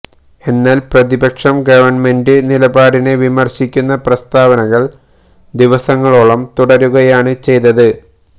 എന്നാല് പ്രതിപക്ഷം ഗവണ്മെന്റ് നിലപാടിനെ വിമര്ശിക്കുന്ന പ്രസ്താവനകള് ദിവസങ്ങളോളം തുടരുകയാണ് ചെയ്തത്